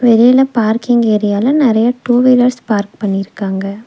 மேல பார்க்கிங் ஏரியால நெறைய டூ வீலர்ஸ் பார்க் பண்ணிருக்காங்க.